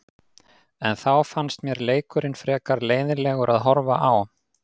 En þá fannst mér leikurinn frekar leiðinlegur að horfa á.